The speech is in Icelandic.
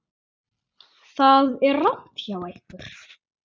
Það er rangt hjá ykkur.